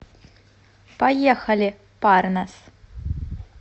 поехали парнас